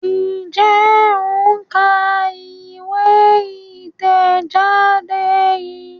Njé o ń ká ìwé itẹjade yí?